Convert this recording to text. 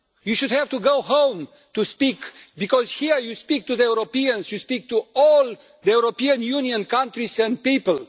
You should have to go home to speak, because here you speak to the Europeans, you speak to all the European Union countries and people.